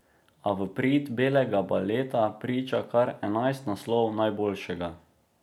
A v prid belega baleta priča kar enajst naslovov najboljšega.